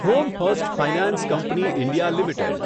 home first finance company India limited